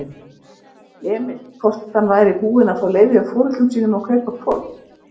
Emil hvort hann væri búinn að fá leyfi hjá foreldrum sínum til að kaupa hvolp.